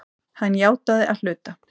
Hann játaði að hluta